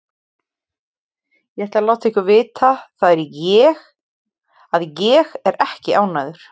Ég ætla að láta ykkur vita það að ÉG er ekki ánægður.